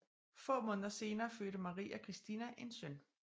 Få måneder senere fødte Maria Christina en søn